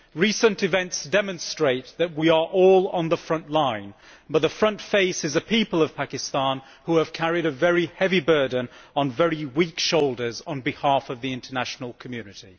Recent events demonstrate that we are all on the front line, but the front face is the people of Pakistan, who have carried a very heavy burden on very weak shoulders on behalf of the international community.